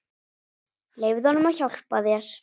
Leyfðu honum að hjálpa þér.